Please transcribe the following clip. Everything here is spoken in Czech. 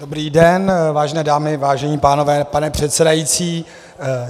Dobrý den, vážené dámy, vážení pánové, pane předsedající.